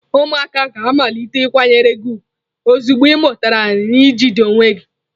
Ụmụaka ga-amalite ịkwanyere gị ugwu ozugbo ị mụtara n ị jikota onwe gị.